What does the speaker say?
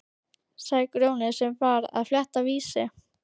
sagði Grjóni sem var að fletta Vísi.